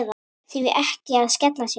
Því ekki að skella sér?